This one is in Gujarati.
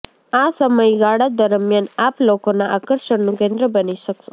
આ સમયગાળા દરમ્યાન આપ લોકોનાં આકર્ષણનું કેન્દ્ર બની શકશો